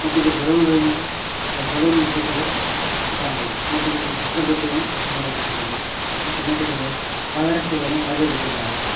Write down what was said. ಮತ್ತೆ ಇಲ್ಲಿ ಬಲೂನ್ ಗಳಿಂದ ಬಲೂನ್ ಸುತ್ತಲು ಕಾಣಬಹುದು ಮತ್ತೆ ಇದೊಂದು ಕಸದ ಬುಟ್ಟಿಯನ್ನು ನೋಡಬಹುದಾಗಿದೆ ಮತ್ತೆ ಮೆಟ್ಟಿಲುಗಳು ಪಾದರಕ್ಷೆಗಳು ಹೊರಗೆ ಬಿಟ್ಟಿದ್ದಾರೆ.